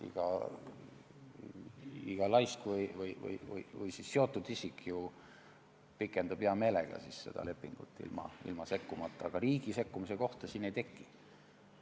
Iga laisk või seotud isik pikendab hea meelega seda lepingut, kui sellesse ei sekkuta, aga riigi sekkumise kohta siin ei teki.